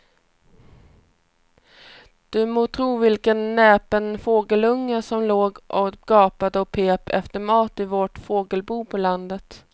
Du må tro vilken näpen fågelunge som låg och gapade och pep efter mat i vårt fågelbo på landet.